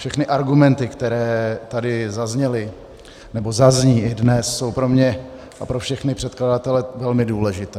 Všechny argumenty, které tady zazněly nebo zazní i dnes, jsou pro mě a pro všechny předkladatele velmi důležité.